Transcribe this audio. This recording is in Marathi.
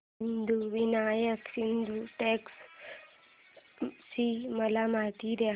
सिद्धिविनायक सिद्धटेक ची मला माहिती दे